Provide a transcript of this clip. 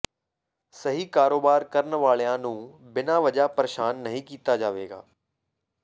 ਸਹੀ ਕਾਰੋਬਾਰ ਕਰਨ ਵਾਲਿਆ ਨੂੰ ਬਿਨ੍ਹ੍ਹਾਂ ਵਜ੍ਹਾ ਪ੍ਰਰੇਸ਼ਾਨ ਨਹੀਂ ਕੀਤਾ ਜਾਵੇਗਾ